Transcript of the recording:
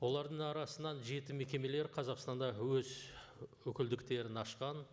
олардың арасынан жеті мекемелер қазақстанда өз өкілдктерін ашқан